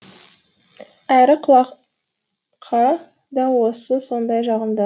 әрі құлаққа да сондай жағымды